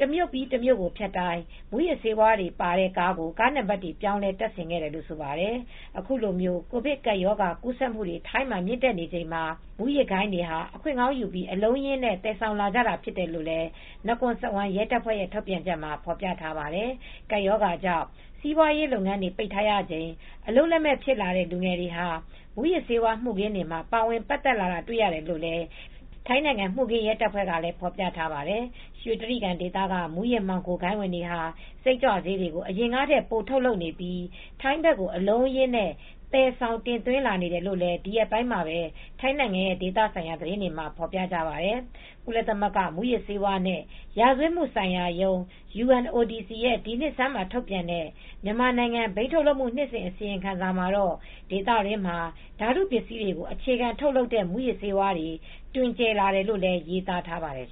တမြို့ပြီးတမြို့ကိုဖြတ်တိုင်းမူးယစ်ဆေးဝါးတွေပါတဲ့ကားကိုကားနံပါတ်တွေပြောင်းလဲတပ်ဆင်ခဲ့တယ်လိ့ုဆိုပါတယ် အခုလို ကိုဗစ်ကပ်ရောဂါကူးစက်မူတွေ ထိုင်းမှာမြင့်တက်နေချိန်မှာ မူးယစ်ဂိုဏ်းတွေဟာ အခွင့်ကောင်းယူပြီး အလုံးအရင်းနဲ့ သယ်ဆောင်နေကြတာဖြစ်တယ်လို့ နကွန်စဝမ် ရဲတပ်ဖွဲ့ရဲ့ ထုတ်ပြန်ချက်မှာ ဖေါ်ပြထားပါတယ် ။ ကပ်ရောဂါကြောင့်စီးပွားရေးလုပ်ငန်းတွေ ပိတ်ထားရတာချိန်အလုပ်လက်မဲ့ ဖြစ်လာတဲ့ လူငယ်တွေ ဟာ မူယစ်ဆေးဝါး မူခင်းတွေမှာ ပါဝင်ပါတ်သက်လာတာတေ ွ့ နေရတယ်လို့ လည်း ထိုင်းနိုင်ငံ မူခင်းရဲတပ်ဖွဲ့က ဖေါ်ပြထားပါတယ်။ ရွှေကြိဂံဒေသက မူးယစ်မှောင်ဂိုဏ်းတွေဟာ စိတ်ကြွဆေးတွေကို အရင်ကထက် ပိုထုတ်လုပ်နေပြီး ထိုင်းဘက်ကိုအလုံးအရင်း သယ်ဆေ ာင်တင်သွင်းနေတယ်လို့လည်း ဒီရက်ပိုင်းမှာပဲ ထိုင်းနိုင်ငံရဲ့ဒေသဆိုင်ရာသတင်းတွေမှာ ဖေါ်ပြကြပါတယ် ကုလသမဂ္ဂ မူးယစ်ဆေးဝါးနဲ့ ရာဇဝတ်မှုဆိုင်ရာရုံး (UNODC) ရဲ့ ဒီနှစ်ဆန်းမှာ ထုတ်ပြန်တဲ့ မြန်မာနိုင်ငံ ဘိန်းထုတ်လုပ်မှု နှစ်စဉ် အစီရင်ခံစာမှာတော့ ဒေသတွင်းမှာ ဓာတုပစ္စည်းတွေကို အခြေခံထုတ်လုပ်တဲ့ မူးယစ်ဆေးဝါးတွေ တွင်ကျယ်လာတယ်လို့လည်း ရေးသားထားပါတယ်